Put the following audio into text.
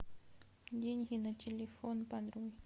деньги на телефон подруге